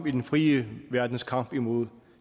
i den frie verdens kamp imod